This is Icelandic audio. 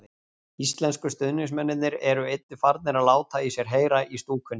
Íslensku stuðningsmennirnir eru einnig farnir að láta í sér heyra í stúkunni.